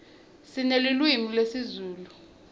sinelulwimi lezulu